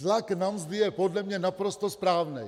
Tlak na mzdy je podle mě naprosto správný.